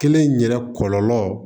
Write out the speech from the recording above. Kelen in yɛrɛ kɔlɔlɔ